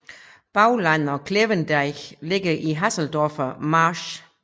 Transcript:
Bauland og Klevendeich ligger i Haseldorfer Marsch